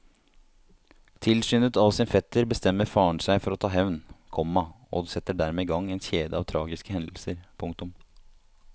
Tilskyndet av sin fetter bestemmer faren seg for å ta hevn, komma og setter dermed i gang en kjede av tragiske hendelser. punktum